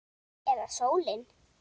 Eða sólin?